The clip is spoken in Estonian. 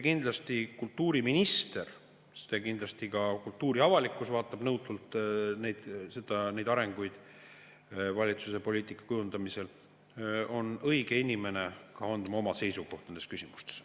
Kindlasti kultuuriminister – sest kindlasti ka kultuuriavalikkus vaatab nõutult neid arenguid valitsuse poliitika kujundamisel – on õige inimene andma oma seisukoha nendes küsimustes.